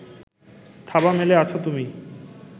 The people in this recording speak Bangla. থাবা মেলে আছো তুমি